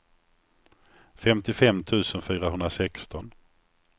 femtiofem tusen fyrahundrasexton